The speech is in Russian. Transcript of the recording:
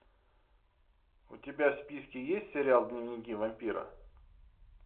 у тебя в списке есть сериал дневники вампира